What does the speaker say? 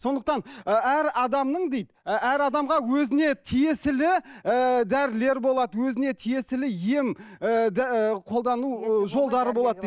сондықтан ы әр адамның дейді ы әр адамға өзіне тиесілі ііі дәрілер болады өзіне тиесілі ем ыыы қолдану ы жолдары болады дейді